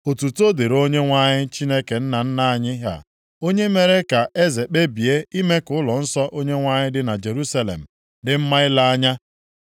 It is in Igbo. Otuto dịrị Onyenwe anyị Chineke nna nna anyị ha, onye mere ka eze kpebie ime ka ụlọnsọ Onyenwe anyị dị na Jerusalem dị mma ile anya.